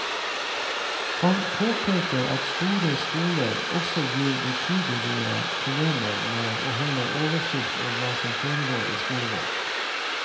Han påpeker at store skoler også gir betydelige problemer med å holde oversikt over hva som foregår i skolegården.